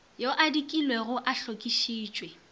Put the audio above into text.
yo a dikilwego a hlokišitšwe